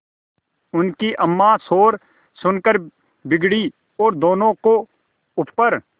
उनकी अम्मां शोर सुनकर बिगड़ी और दोनों को ऊपर